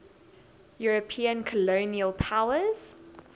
european colonial powers